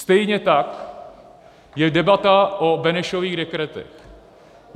Stejně tak je debata o Benešových dekretech.